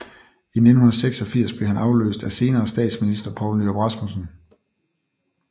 I 1986 blev han afløst af senere statsminister Poul Nyrup Rasmussen